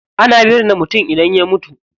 Ana binne mutum idan ya mutu.